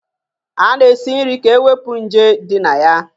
A na-esi nri ka e wepụ nje ndị na ya